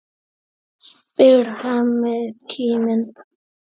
spyr Hemmi kíminn.